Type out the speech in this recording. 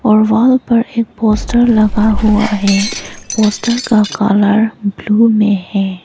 और वॉल पर एक पोस्टर लगा हुआ है पोस्टर का कलर ब्लू में है।